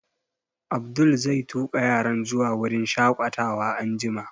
Abdul zai tuƙa yaran zuwa wurin shaƙatawa anjima